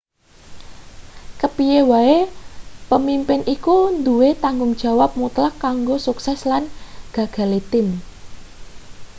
kepiye wae pemimpin iku duwe tanggung jawab mutlak kanggo sukses lan gagale tim